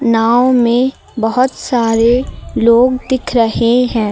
नाव में बहुत सारे लोग दिख रहे हैं।